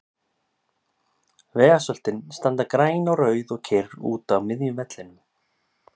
Vegasöltin standa græn og rauð og kyrr úti á miðjum vellinum.